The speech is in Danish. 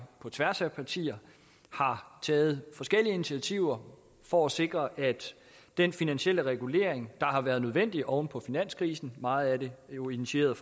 på tværs af partier har taget forskellige initiativer for at sikre at den finansielle regulering der har været nødvendig oven på finanskrisen meget af det jo initieret